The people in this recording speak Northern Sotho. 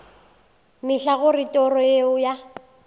mehla gore toro yeo ya